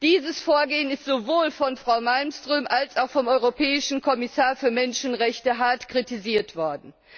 Dieses Vorgehen ist sowohl von Frau Malmström als auch vom europäischen Kommissar für Menschenrechte hart kritisiert worden.